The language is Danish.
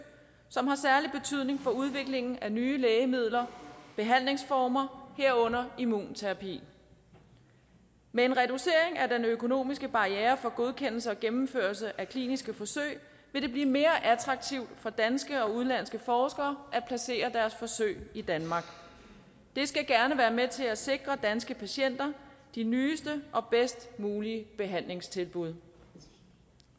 som har særlig betydning for udviklingen af nye lægemidler behandlingsformer herunder immunterapi med en reducering af den økonomiske barriere for godkendelse og gennemførelse af kliniske forsøg vil det blive mere attraktivt for danske og udenlandske forskere at placere deres forsøg i danmark det skal gerne være med til at sikre danske patienter de nyeste og bedst mulige behandlingstilbud